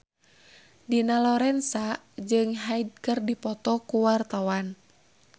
Dina Lorenza jeung Hyde keur dipoto ku wartawan